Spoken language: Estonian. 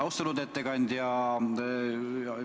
Austatud ettekandja!